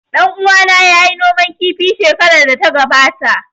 Ɗan uwana ya yi noman kifi shekarar da ta gabata